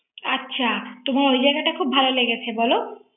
আচ্ছা তোমার ওই জায়গা টা খুব ভালো লেগেছে বলো